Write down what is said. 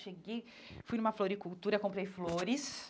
Cheguei, fui numa floricultura, comprei flores.